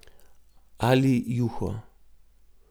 Ali juho.